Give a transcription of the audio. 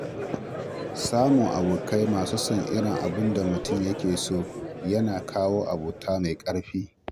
Samun abokai masu son irin abin da mutum ke so yana kawo abota mai ƙarfi.